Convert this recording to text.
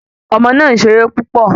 Ọmọ náà se eré púpọ̀